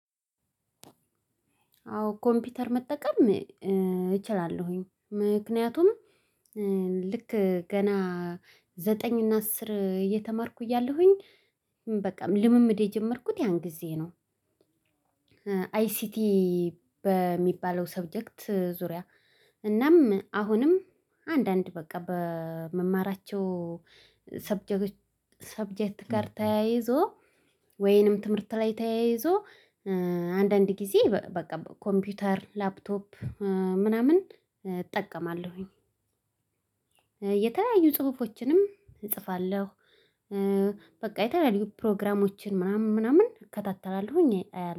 አዎ ኮምፒተር መጠቀም እችላለሁኝ ምክንያቱም ልክ ገና ዘጠኝ እና አስር እየተማርኩኝ እያለሁኝ በቃ ልምምድ የጀመርኩት ያን ጊዜ ነው። አይሲቲ በሚባለው ሰብጀክት ዙሪያ። እናም አሁንም አንዳንድ በቃ በምማራቸው። ሰብጀክት ሰብጀት ጋር ተያይዞ ወይንም ትምህርት ላይ ተያይዞ አንዳንድ ጊዜ በቃ ኮምፒውተር ላፕቶፕ ምናምን እጠቀማለሁኝ። የተለያዩ ጽሁፎችንም እጽፋለሁ። በቃ የተለያዩ ፕሮግራሞችን ምናምን ምናምን እከታተላለሁኝ አያለሁ